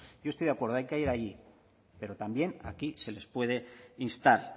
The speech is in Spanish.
yo estoy de acuerdo hay que ir allí pero también aquí se les puede instar